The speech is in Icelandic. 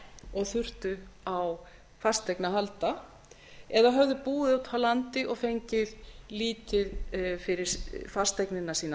og þurftu á fasteign að halda eða höfðu búið úti á landi og fengið lítið fyrir fasteignina sína